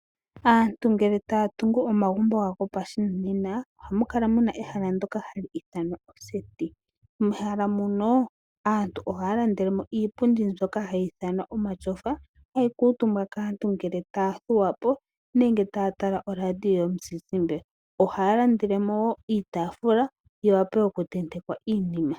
Aantu ngele taya tungu omagumbo gawo gopashinanena ohamukala muna ehala ndoka hali ithanwa oseti. Mehala muno aantu ohaya landelemo iipundi mbyoka hayi ithanwa omatyofa hayi kuutumbwa kaantu ngele ta ya thuwapo nenge taya tala oradio yomuzizimba. Ohaya landelemo woo iitaafula yi wape oku tenteka iinima.